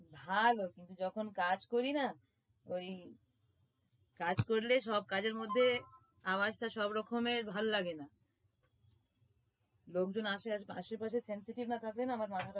ভালো কিন্তু যখন কাজ করি না ওই কাজ করলে সব কাজের মধ্যে আওয়াজ টা সবরকমের ভালো লাগে না লোকজন আসে আশেপাশে sensitive না থাকলে না আমার ভালো লাগে না